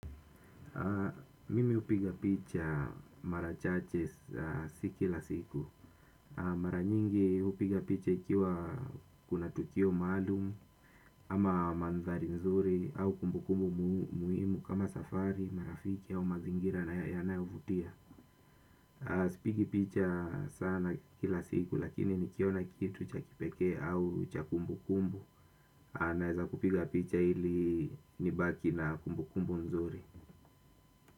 Mimi hupiga picha mara chache si kila siku. Mara nyingi hupiga picha ikiwa kuna tukio maalumu ama mandhari nzuri au kumbukumbu muhimu kama safari, marafiki au mazingira na yanayovutia. Sipigi picha sana kila siku lakini nikiona kitu cha kipekee au cha kumbu kumbu. A naeza kupiga picha ili nibaki na kumbu kumbu nzuri.